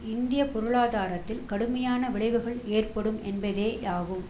இந்திய பொருளாதாரத்தில் கடுமையான விளைவுகள் ஏற்படும் என்பதே யாகும்